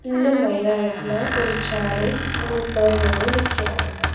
இந்த மைதானத்துல ஒரு சேரு மூனு பேர்சனு நிக்கறாங்க.